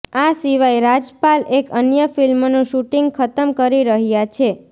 આ સિવાય રાજપાલ એક અન્ય ફિલ્મનું શૂટિંગ ખતમ કરી રહયા છે